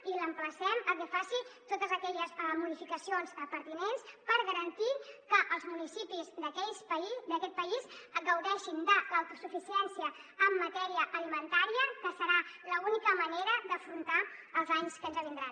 i l’emplacem a que faci totes aquelles modificacions pertinents per garantir que els municipis d’aquest país gaudeixin de l’autosuficiència en matèria alimentària que serà l’única manera d’afrontar els anys que ens vindran